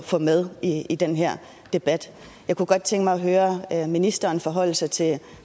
få med i i den her debat jeg kunne godt tænke mig at høre ministeren forholde sig til